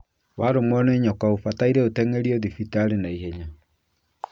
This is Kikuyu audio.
Warũmwo nĩ nyoka ũbataire ũteng'erio thibitarĩ ihenya mũno